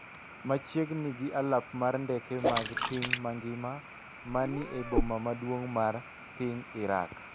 machiegni gi alap mar ndeke mag piny mangima ma ni e boma maduong’ mar piny Iraq.